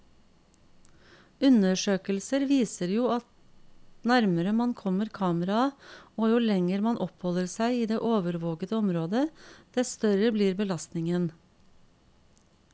Undersøkelser viser at jo nærmere man kommer kameraet, og jo lenger man oppholder seg i det overvåkede området, dess større blir belastningen.